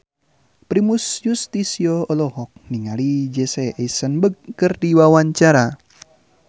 Primus Yustisio olohok ningali Jesse Eisenberg keur diwawancara